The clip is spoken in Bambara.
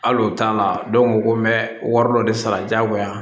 Hali o t'a la dɔw ko ko n bɛ wari dɔ de sara diyagoya